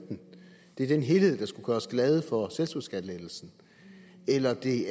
det den helhed der skulle gøre os glade for selskabsskattelettelsen eller er det